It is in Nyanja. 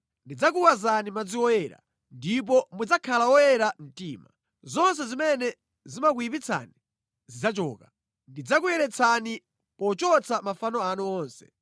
Ndidzakuwazani madzi oyera, ndipo mudzakhala oyera mtima. Zonse zimene zimakuyipitsani zidzachoka. Ndidzakuyeretsani pochotsa mafano anu onse.